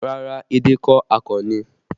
Rárá, edé kọ́, akàn ni